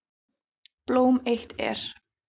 Blóm eitt er.